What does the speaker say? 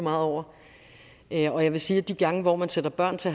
meget over jeg vil sige at de gange hvor man sætter børn til